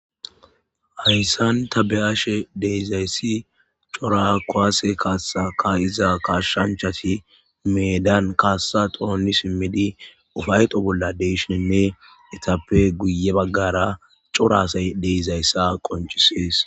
Hayssan ta be'ashshe de'izayssi cora kuwasse Kassa ka'iza kassanchchatti meddan Kassa toni siimidi ufaytto bolla de'ishshininne ettappe guye baggara cora assay de'izayssa qoncisees